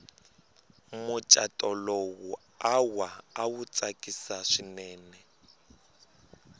muchato lowu awa awu tsakisi swinene